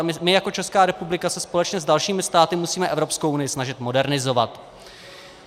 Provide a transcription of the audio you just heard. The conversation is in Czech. A my jako Česká republika se společně s dalšími státy musíme Evropskou unii snažit modernizovat.